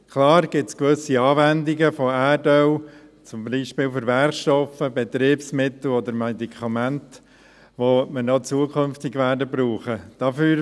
Klar gibt es gewisse Anwendungen von Erdöl, zum Beispiel für Werkstoffe, Betriebsmittel oder Medikamente, die wir auch zukünftig brauchen werden.